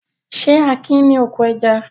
Ṣé Akin ní oko ẹja?